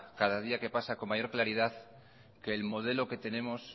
cada día que pasa con mayor claridad que el modelo que tenemos